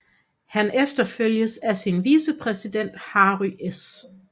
Han efterfølges af sin vicepræsident Harry S